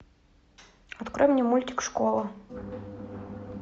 открой мне мультик школа